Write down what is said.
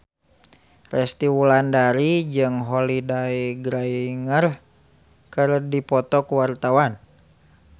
Resty Wulandari jeung Holliday Grainger keur dipoto ku wartawan